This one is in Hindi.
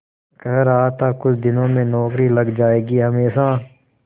कह रहा था कुछ दिनों में नौकरी लग जाएगी हमेशा